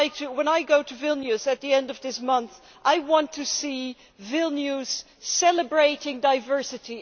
When I go to Vilnius at the end of this month, I want to see Vilnius celebrating diversity.